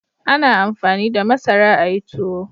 A na amfani da masara a yi tuwo